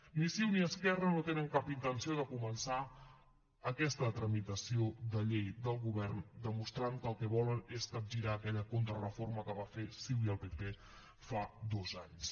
ni ciu ni esquerra no tenen cap intenció de començar aquesta tramitació de llei del govern demostrant que el que volen és capgirar aquella contrareforma que van fer ciu i el pp fa dos anys